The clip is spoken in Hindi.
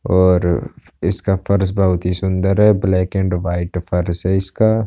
और इसका फर्श बहुत ही सुंदर है। ब्लैक एंड वाइट फर्श है इसका।